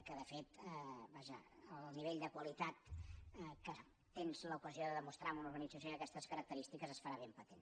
que de fet el nivell de qualitat que tens l’ocasió de demostrar en una organització d’aquestes característiques es farà ben patent